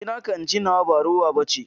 Ci naka in ci nawa, ba rowa ba ce.